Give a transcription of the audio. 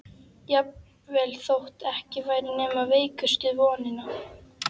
Jafnvel þótt ekki væri nema veikustu vonina.